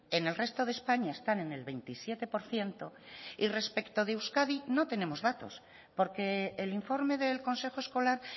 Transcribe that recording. en el resto de españa están en el veintisiete por ciento y respecto de euskadi no tenemos datos porque el informe del consejo escolar